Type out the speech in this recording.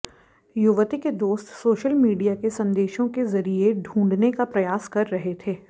युवती के दोस्त सोशल मीडिया के संदेशों के जरिए ढूंढने का प्रयास कर रहे थे